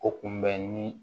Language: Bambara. O kun bɛ ni